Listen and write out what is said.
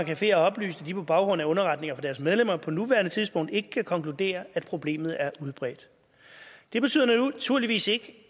caféer har oplyst at de på baggrund af underretninger fra deres medlemmer på nuværende tidspunkt ikke kan konkludere at problemet er udbredt det betyder naturligvis ikke